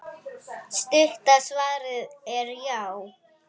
Stutta svarið er já!